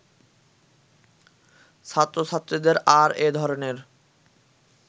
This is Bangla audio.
ছাত্রছাত্রীদের আর এ ধরনের